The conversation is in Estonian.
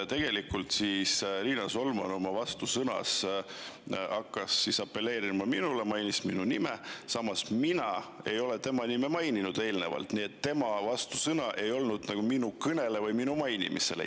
Tegelikult Riina Solman oma vastusõnavõtus hakkas apelleerima minule, mainis minu nime, samas mina tema nime eelnevalt ei maininud, nii et tema vastusõnavõtt ei olnud vastuseks minu kõnele või seal tema mainimisele.